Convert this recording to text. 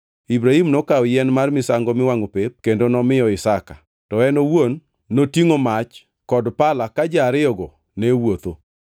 Ibrahim nokawo yien mar misango miwangʼo pep kendo nomiyo Isaka, to en owuon notingʼo mach kod pala ka ji ariyogo ne wuotho.